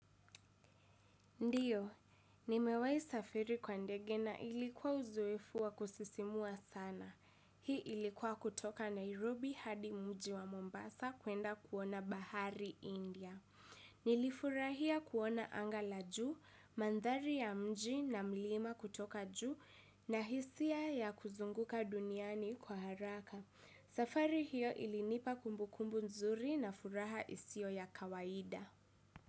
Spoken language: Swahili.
Ndiyo, nimewahi safiri kwa ndege na ilikuwa uzoefu wa kusisimua sana. Hii ilikuwa kutoka Nairobi hadi mji wa Mombasa kuenda kuona bahari India. Nilifurahia kuona anga la juu, mandhari ya mji na mlima kutoka juu na hisia ya kuzunguka duniani kwa haraka. Safari hiyo ilinipa kumbukumbu nzuri na furaha isiyo ya kawaida.